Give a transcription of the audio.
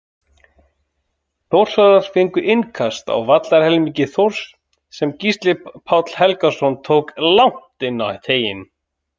Þórsarar fengu innkast á vallarhelmingi Þórs sem Gísli Páll Helgason tók langt inn í teiginn.